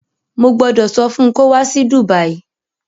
Mo gbọ́dọ̀ sọ fun kó wá sí Dùbàyí